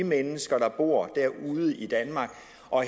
mennesker der bor derude i danmark